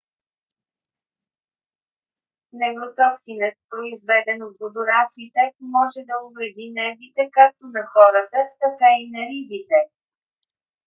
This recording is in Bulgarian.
невротоксинът произведен от водораслите може да увреди нервите както на хората така и на рибите